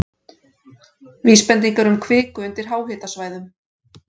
Vísbendingar um kviku undir háhitasvæðum